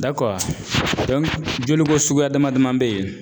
joliko suguya dama daman bɛ yen